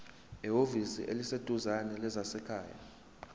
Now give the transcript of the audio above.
ehhovisi eliseduzane lezasekhaya